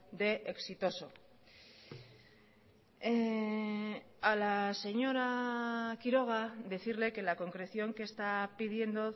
de exitoso a la señora quiroga decirle que la concreción que está pidiendo